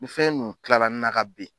Nin fɛn nu kilara n na ka ben